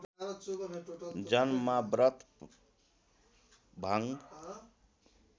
जन्ममा व्रत भङ्ग